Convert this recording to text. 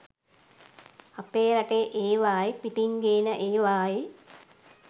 අපේ රටේ ඒවායි පිටින් ගේන ඒවායි